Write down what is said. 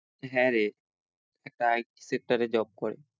হ্যাঁ রে একটা IT sector এ job করে।